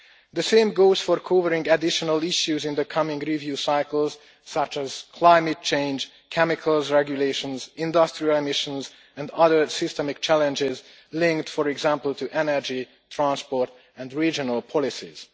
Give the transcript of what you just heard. The same goes for covering additional issues in the coming review cycles such as climate change, chemicals regulations, industrial emissions and other systemic challenges linked, for example, to energy, transport and regional policies.